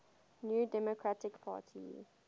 new democratic party